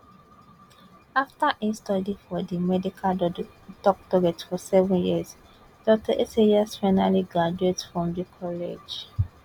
afta e study for di medical doctorate for seven years dr esayas finally graduate from di college